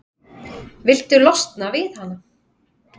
Viltu losna við hana?